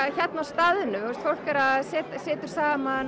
hérna á staðnum fólk situr saman